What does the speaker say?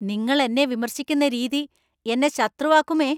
നിങ്ങൾ എന്നെ വിമർശിക്കുന്ന രീതി എന്നെ ശത്രുവാക്കുമേ.